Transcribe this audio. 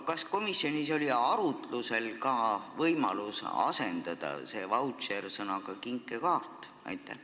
Kas komisjonis oli aga arutuse all võimalus asendada see "vautšer" sõnaga "kinkekaart"?